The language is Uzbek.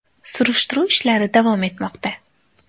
Surishtiruv ishlari davom etmoqda.